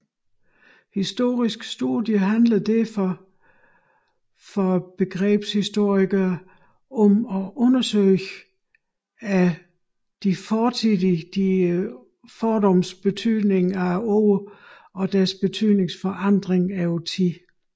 Historiske studier handler derfor for begrebshistorikere om at undersøge ords fortidige betydning og deres betydningsforandring over tid